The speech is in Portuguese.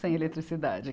Sem eletricidade.